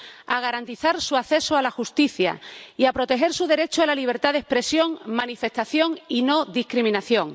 a garantizar su acceso a la justicia y a proteger su derecho a la libertad de expresión, manifestación y no discriminación.